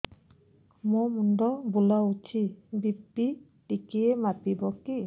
ମୋ ମୁଣ୍ଡ ବୁଲାଉଛି ବି.ପି ଟିକିଏ ମାପିବ କି